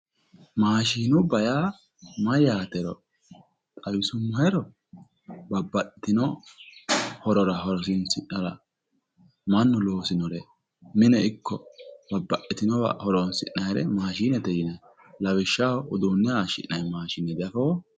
Maashiinubba yaa mayyaatero xawisummoheru, babbaxxitino horora horoonsidhara mannu loosinore mine ikko babbaxxitinowa horoonsi'nannire maashiinete yineemmo. Lawishsha uduunne hayishshi'nanni maashiine diafoo?